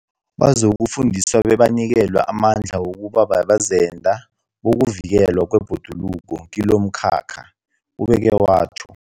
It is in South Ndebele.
Bazokufundiswa bebanikelwe amandla wokuba bazenda bokuvikelwa kwebhoduluko kilomkhakha, ubeke watjho.